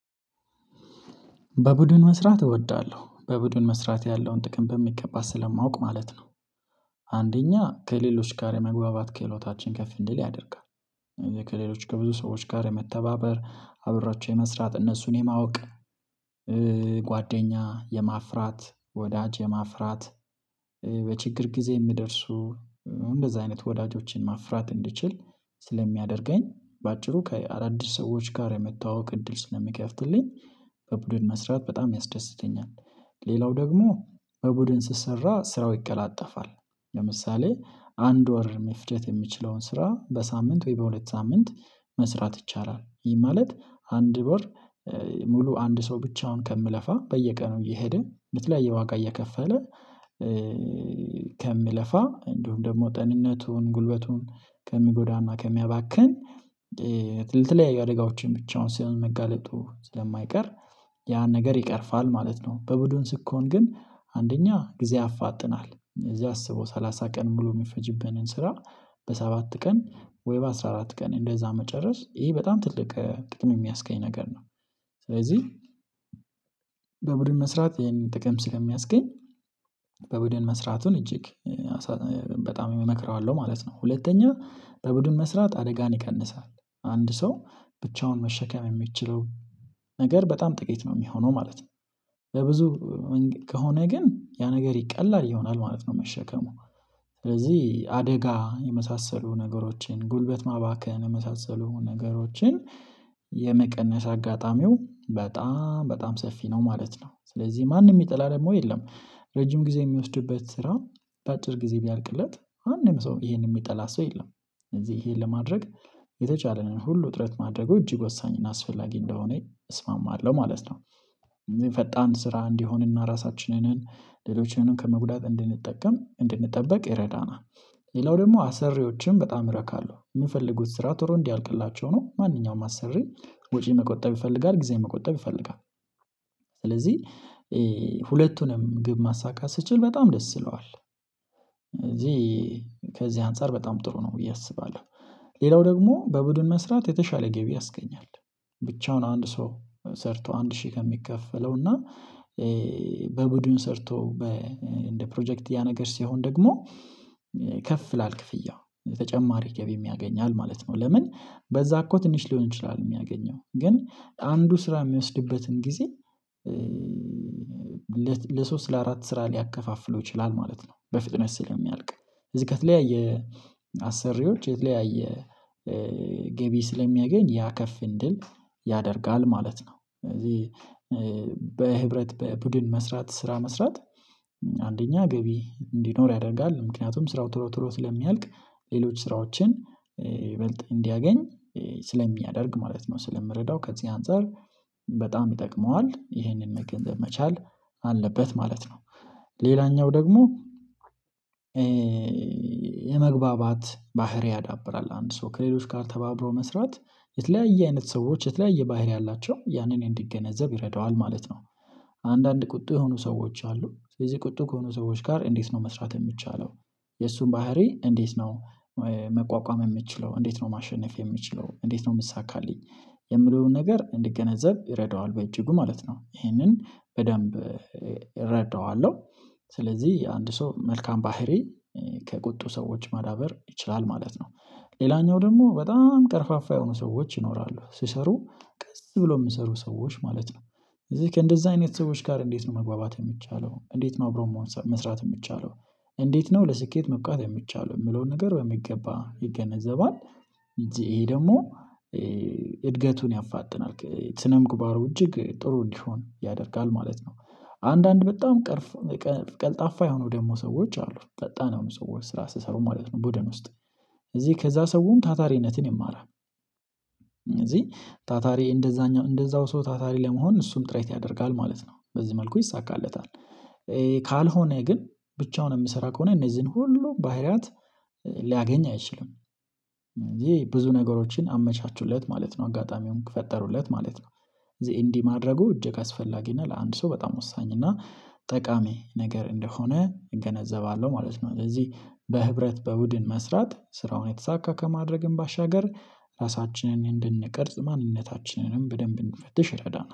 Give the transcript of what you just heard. በቡድን መስራት እወዳለሁ በቡድን መስራት ያለውን ጥቅም በሚገባ ስለማውቅ ማለት ነው። አንደኛ ከሌሎች ጋር የመግባባት ከህሎታችን ከፍ እንድል ያደርጋል። ከሌሎች ከብዙ ሰዎች ጋር የመተባበር አብሯቸው የመስራት እነሱን የማወቅ። ጓደኛ የማፍራት ወዳጅ የማፍራት በችግር ጊዜ የሚደርሱ እንደዚህ አይነት ወዳጆችን ማፍራት እንድችል ስለሚያደርገኝ በአጭሩ ከአዳዲስ ሰዎች ጋር የመተዋወቅ እድል ስለሚከፍትልኝ። በቡድን መስራት በጣም ያስደስተኛል። ሌላው ደግሞ በቡድን ስሰራ ስራው ይቀላጠፋል። ለምሳሌ አንድ ወር መፍጀት የሚችለውን ስራ በሳምንት ወይ በሁለት ሳምንት መስራት ይቻላል ይሄ ማለት አንድ ወር ሙሉ አንድ ሰው ብቻውን ከሚለፋ በየቀኑ እየሄደ በተለያየ ዋጋ እየከፈለ። ከምለፋ እንዲሁም ደግሞ ጤንነቱን ጉልበቱን ከሚጎዳና ከሚያባክን ለትለያዩ አደጋዎችን ብቻውን ሲሆን መጋለጡ ስለማይቀር ያን ነገር ይቀርፋል ማለት ነው። በቡድን ስኮን ግን አንደኛ ጊዜ ያፋጥናል እዚህ አስበው ሰላሳ ቀን ብሎ የሚፈጅብንን ስራ በሰባት ቀን ወይ በአስራ አራት ቀን እንደዛ መጨረስ ይሄ በጣም ትልቅ ጥቅም የሚያስገኝ ነገር ነው። ስለዚህ በቡድን መስራት ይሄን ጥቅም ስለሚያስገኝ በቡድን መስራቱን እጅግ በጣም እመክረዋለሁ ማለት ነው። ሁለተኛ በቡድን መስራት አደጋን ይቀንሳል አንድ ሰው ብቻውን መሸከም የሚችለው ነገር በጣም ጥቂት ነው የሚሆነው ማለት ነው። በብዙ ከሆነ ግን ያ ነገር ቀላል ይሆናል ማለት ነው መሸከሙ ስለዚህ አደጋ የመሳሰሉ ነገሮችን ጉልበት ማባከን የመሳሰሉ ነገሮችን የመቀነስ አጋጣሚው በጣም በጣም ሰፊ ነው ማለት ነው። ስለዚህ ማንም የሚጠላ ደግሞ የለም ረጅም ጊዜ የሚወስድበት ስራ በአጭር ጊዜ ቢያልቅለት አንድም ሰው ይሄንን የሚጠላ ሰው የለም። እነዚህ ይሄን ለማድረግ የተቻለንን ሁሉ ጥረት ማድረጉ እጅግ ወሳኝ እና አስፈላጊ እንደሆነ እስማማለሁ ማለት ነው። ፈጣን ስራ እንዲሆንና ራሳችንን ሌሎችንን ከመጉዳት እንድንጠቀም እንድንጠበቅ ይረዳናል። ሌላው ደግሞ አሰሪዎችን በጣም ረካለሁ የምፈልጉት ስራ ቶሎ እንዲያልቅላቸው ነው ማንኛውም አሰሪ ወጪ መቆጠብ ይፈልጋል ጊዜ መቆጠብ ይፈልጋል። ስለዚህ ሁለቱንም ግብ ማሳካት ስችል በጣም ደስ ይለዋል እዚህ ከዚህ አንፃር በጣም ጥሩ ነው ብዬ አስባለሁ። ሌላው ደግሞ በቡድን መስራት የተሻለ ገቢ ያስገኛል ብቻውን አንድ ሰው ሰርቶ አንድ ሺህ ከሚከፈለው እና በቡድን ሰርቶ በ እንደ ፕሮጀክት ያ ነገር ሲሆን ደግሞ ከፍ ይላል ክፍያው ተጨማሪም ገቢም ያገኛል ማለት ነው። ለምን በዛ እኮ ትንሽ ሊሆን ይችላል የሚያገኘው ግን አንዱ ስራ የሚወስድበትን ጊዜ ለሶስት ለአራት ስራ ሊያከፋፍለው ይችላል ማለት ነው። በፍጥነት ስለሚያልቅ እዚህ ከተለያየ አሰሪዎች የተለያየ ገቢ ስለሚያገኝ ያ ከፍ እንድል ያደርጋል ማለት ነው። እዚህ በህብረት በቡድን መስራት ስራ መስራት አንደኛ ገቢ እንዲኖር ያደርጋል ምክንያቱም ስራው ቶሎ ቶሎ ስለሚያልቅ ሌሎች ስራዎችን ይበልጥ እንዲያገኝ ስለሚያደርግ ማለት ነው። ስለምረዳው ከዚህ አንፃር በጣም ይጠቅመዋል ይሄንን መገንዘብ መቻል አለበት ማለት ነው። ሌላኛው ደግሞ የመግባባት ባህሪ ያዳብራል አንድ ሰው ከሌሎች ጋር ተባብሮ መስራት የተለያየ አይነት ሰዎች የተለያየ ባህሪ አላቸው ያንን እንዲገነዘብ ይረዳዋል ማለት ነው። አንዳንድ ቁጡ የሆኑ ሰዎች አሉ ስለዚህ ቁጡ ከሆኑ ሰዎች ጋር እንዴት ነው መስራት የሚቻለለው? የእሱን ባሀሪ እንዴት ነው ማሸነፍ የምችለው እንዴት ነው የምሳካልኝ? የምለውን ነገር እንድገነዘብ ይረዳዋል በእጅጉ ማለት ነው። ይሄንን በደንብ እረዳዋለሁ ስለዚህ አንድ ሰው መልካም ባህሪ ከቁጡ ሰዎች ማዳበር ይችላል ማለት ነው። ሌላኛው ደግሞ በጣም ቀርፋፋ የሆኑ ሰዎች ይኖራሉ ስሰሩ ቀስ ብሎ የሚሰሩ ሰዎች ማለት ነው እዚህ ከእንደዛ አይነት ሰዎች ጋር እንዴት ነው መግባባት የምቻለው እንዴት ነው አብረው መሆን መስራት የሚቻለው? እንዴት ነው ለስኬት መብቃት የሚቻለው የሚለውን ነገር በሚገባ ይገነዘባል። እዚህ ደግሞ እድገቱን ያፋጥናል ስነ ምግባሩ እጅግ ጥሩ እንዲሆን ያደርጋል ማለት ነው። አንዳንድ በጣም ቀርፎ ቀልጣፋ የሆኑ ደግሞ ሰዎች አሉ ፈጣን ያውም ሰዎች ስራ ስሰሩ ማለት ነው ቡድን ውስጥ እዚህ ከዛ ሰውም ታታሪነትን ይማራል እዚህ ታታሪ እንደዛኛው እንደዛው ሰው ታታሪ ለመሆን እሱም ጥሬት ያደርጋል ማለት ነው። በዚህ መልኩ ይሳካለታል። ካልሆነ ግን ብቻውን የምሰራ ከሆነ እነዚህን ሁሉ ባህሪያት ሊያገኝ አይችልም። እነዚህ ብዙ ነገሮችን አመቻቹለት ማለት ነው አጋጣሚውን ፈጠሩለት ማለት ነው። እዚህ እንዲህ ማድረጉ እጅግ አስፈላጊ እና ለአንድ ሰው በጣም ወሳኝ እና ጠቃሚ ነገር እንደሆነ እገነዘባለሁ ማለት ነው። ስለዚህ በህብረት በቡድን መስራት ስራውን የተሳካ ከማድረግም ባሻገር ራሳችንን እንድንቀርጽ ማንነታችንንም በደንብ እንፈትሽ ይረዳናል